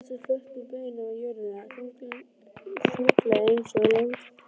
Tjaldbúinn settist flötum beinum á jörðina, þunglega einsog langþreyttur.